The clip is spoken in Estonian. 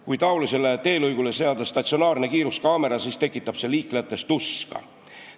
Kui sellisele teelõigule seada statsionaarne kiiruskaamera, siis tekitab see liiklejates tuska.